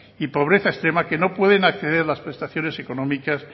y pobreza extrema que no pueden acceder a las prestaciones económicas